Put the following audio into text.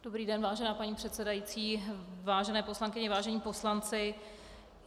Dobrý den, vážená paní předsedající, vážené poslankyně, vážení poslanci.